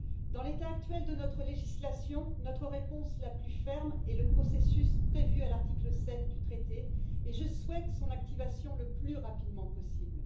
Dans l'état actuel de notre législation, notre réponse la plus ferme est le processus prévu à l'article 7 du traité et je souhaite son activation le plus rapidement possible.